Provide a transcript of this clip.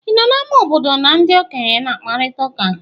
Ị nọ n'ámá obodo na ndị okenye na-akparịta ụka?